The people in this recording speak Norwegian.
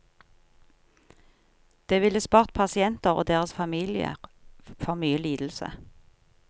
Det ville spart pasienter og deres familier for mye lidelse.